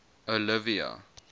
olivia